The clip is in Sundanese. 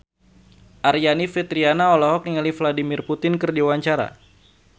Aryani Fitriana olohok ningali Vladimir Putin keur diwawancara